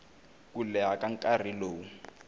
ku leha ka nkarhi lowu